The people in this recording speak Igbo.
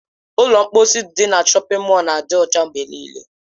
Ụlọ mkposi ndị dị na shọpin mọl na-adị ọcha mgbe nịịle.